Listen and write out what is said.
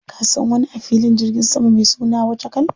Ka san wani a filin jirgin sama mai suna Wachakal?